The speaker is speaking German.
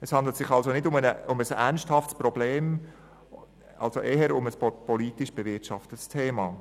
Es handelt sich also nicht um ein ernsthaftes Problem, sondern eher um ein politisch bewirtschaftetes Thema.